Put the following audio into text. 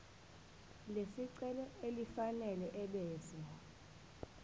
lesicelo elifanele ebese